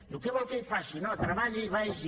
diu què vol que hi faci no treballi i vagi